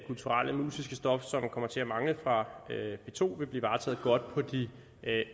kulturelle og musiske stof som kommer til at mangle fra p to vil blive varetaget godt på de